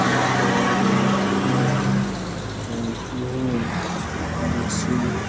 एक गाड़ी है मशीन है।